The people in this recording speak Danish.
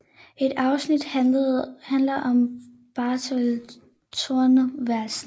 Et afsnit handler om Bertel Thorvaldsen